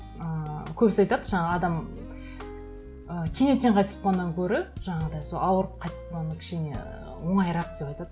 ыыы көбісі айтады жаңа адам ы кенеттен қайтыс болғаннан гөрі жаңағыдай сол ауырып қайтыс болғаны кішкене оңайырақ деп айтады